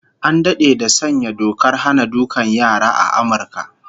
An dade da sanya dokar hana dukan yara a Amurka